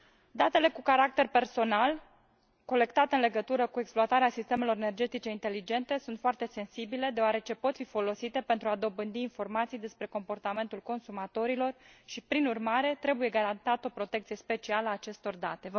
Datele cu caracter personal colectate în legătură cu exploatarea sistemelor energetice inteligente sunt foarte sensibile, deoarece pot fi folosite pentru a dobândi informații despre comportamentul consumatorilor și, prin urmare, trebuie garantată o protecție specială a acestor date.